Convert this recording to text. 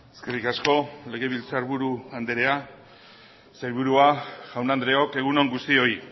eskerrik asko legebiltzarburu andrea sailburua jaun andreok egun on guztioi